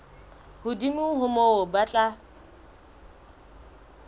hodimo ho moo ba tla